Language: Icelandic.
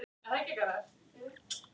Góði Leifur minn